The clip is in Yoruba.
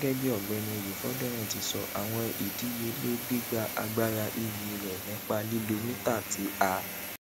gẹgẹbi ọgbẹni oyefodunrin ti sọ awọn idiyele gbigba agbara ev rẹ nipa lilo mita ti a